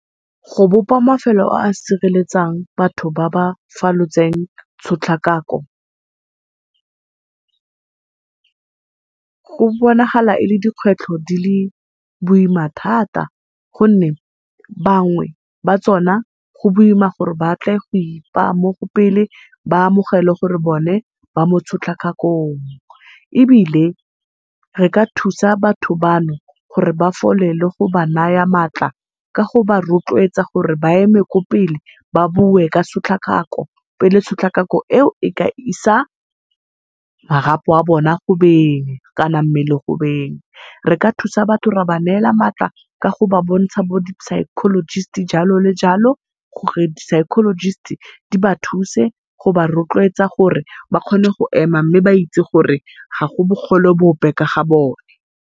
Go bopa mafelo a a sireletsang batho ba ba falotseng tshotlakako, go bonagala e le dikgwetlho di le boima thata, gonne bangwe ba tsona go boima gore batle go ipaa mopele ba amogele gore bona ba mo tshotlakakong. Ebile re ka thusa batho bano gore ba fole le go ba naya matla ka go ba rotloetsa gore ba eme kwa pele ba bue ka tshotlakako, pele tshotlakako eo e ka isa marapo a bona go beng kana mmele go beng. Re ka thusa batho ra ba neela matla ka go ba bontsha bo di-psychologist-i jalo le jalo, gore di-psychologist-i di ba thuse go ba rotloetsa gore ba kgone go ema mme ba itse gore ga go bogole bope ka ga bone.